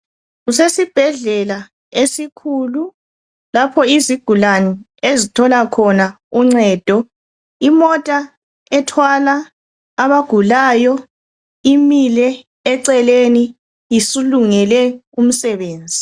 Kusesibhedlela esikhulu, lapho izigulane ezithola khona uncedo. Imota ethwala abagulayo imile eceleni isilungele umsebenzi.